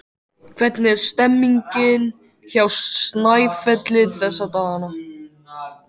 Hvernig er stemmningin hjá Snæfelli þessa dagana?